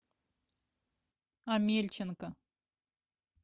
амельченко